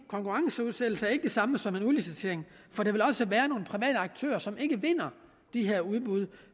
konkurrenceudsættelse ikke er det samme som udlicitering for der vil også være nogle private aktører som ikke vinder de her udbud